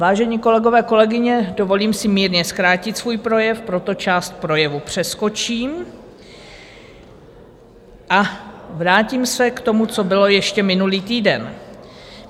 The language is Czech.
Vážení kolegové, kolegyně, dovolím si mírně zkrátit svůj projev, proto část projevu přeskočím a vrátím se k tomu, co bylo ještě minulý týden.